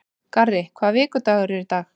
Garri, hvaða vikudagur er í dag?